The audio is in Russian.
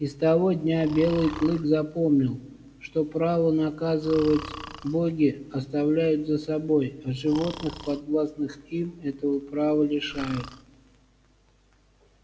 и с того дня белый клык запомнил что право наказывать боги оставляют за собой а животных подвластных им этого права лишают